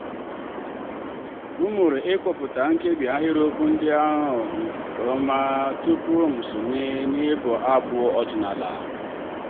m mụrụ ịkpọpụta nkebi ahịrịokwu ndị ahụ nke ọma tupu m'esonye n'ịbụ abụ ọdịnala.